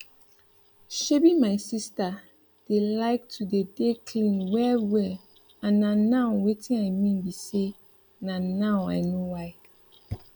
shebi my sister dey like to dey dey clean well well and na now wetin i mean bi say na now i know why